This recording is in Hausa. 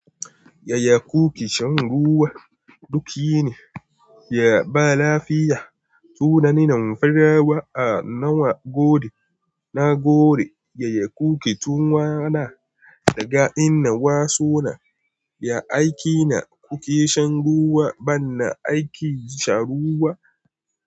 Yaya kuke shan ruwa? Duk yini ya ba lafiya. Tunani na farawa a nawa gode. Na gode yaya kuke tunawa da ga inda nawa suna. Ya aiki ne kuke shan ruwa? Bana aikin sha ruwa.